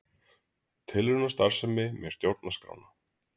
Tilraunastarfsemi með stjórnarskrána